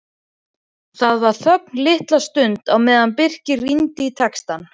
Það var þögn litla stund á meðan Birkir rýndi í textann.